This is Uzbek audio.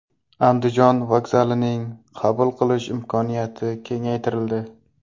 Andijon vokzalining qabul qilish imkoniyati kengaytirildi.